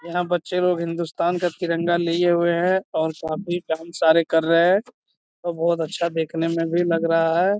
यहाँ बच्चे लोग हिंदुस्तान का तिरंगा लिए हुए है और सभी डांस सारे कर रहे हैं और बहोत अच्छा देखने में भी लग रहा है।